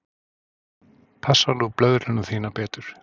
Passaðu nú blöðruna þína betur.